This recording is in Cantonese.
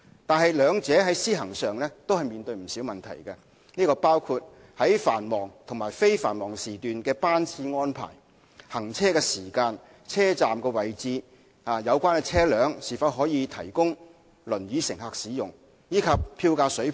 不過，兩者在施行上均面對不少問題，包括在繁忙和非繁忙時段的班次安排、行車時間、車站位置、有關車輛是否可供輪椅乘客使用，以及票價水平等。